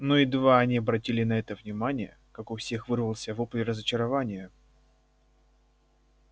но едва они обратили на это внимание как у всех вырвался вопль разочарования